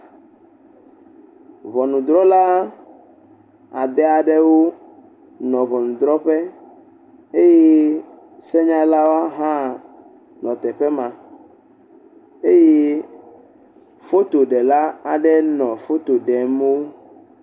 Ŋɔnudrɔla ade aɖewo nɔ ŋunudrɔƒe eye senyalwo hã nɔ teƒe ma eye fotoɖela aɖe nɔ foto ɖem wo.